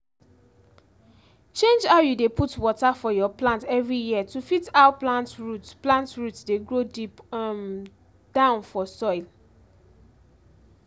change how you dey put water for your plant every year to fit how plant root plant root dey grow deep um down for soil